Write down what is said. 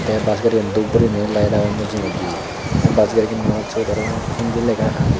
te bus garigan dub guriney layet agon mujungedi te bus gariganot siyot aro hindi lega agey.